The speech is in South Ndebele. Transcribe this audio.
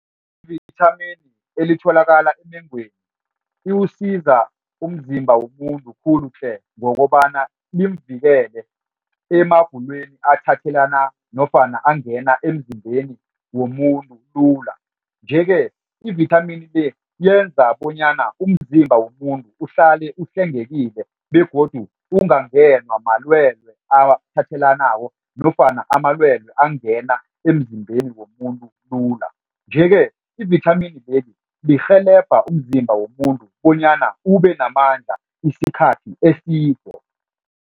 Ivithamini elitholakala emengweni iwusiza umzimba womuntu khulu tle ngokobana limvikele emagulweni aphathelana nofana angena emzimbeni womuntu lula. Nje-ke ivithamini le yenza bonyana umzimba womuntu uhlale uhlengekile begodu ungangenwa malwelwe athethelanako nofana amalwelwe angena emzimbeni womuntu lula nje-ke ivithamini lirhelebha umzimba womuntu bonyana ubenamandla isikhathi eside.